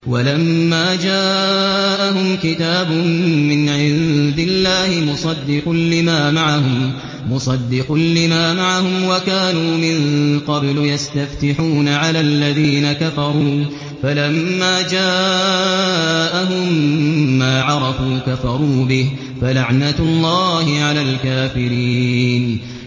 وَلَمَّا جَاءَهُمْ كِتَابٌ مِّنْ عِندِ اللَّهِ مُصَدِّقٌ لِّمَا مَعَهُمْ وَكَانُوا مِن قَبْلُ يَسْتَفْتِحُونَ عَلَى الَّذِينَ كَفَرُوا فَلَمَّا جَاءَهُم مَّا عَرَفُوا كَفَرُوا بِهِ ۚ فَلَعْنَةُ اللَّهِ عَلَى الْكَافِرِينَ